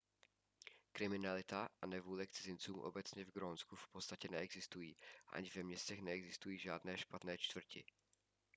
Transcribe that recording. kriminalita a nevůle k cizincům obecně v grónsku v podstatě neexistují ani ve městech neexistují žádné špatné čtvrti